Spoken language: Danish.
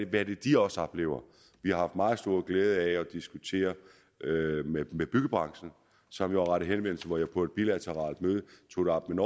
hvad de også oplever vi har haft meget stor glæde af at diskutere med byggebranchen som jo har rettet henvendelse og hvor jeg på et bilateralt møde tog det op med